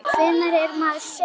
Hvenær er maður sekur?